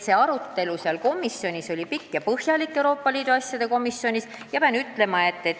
See arutelu Euroopa Liidu asjade komisjonis oli pikk ja põhjalik.